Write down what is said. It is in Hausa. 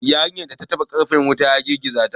Yarinyar ta taɓa karfen wayan wuta, ya girgiza ta.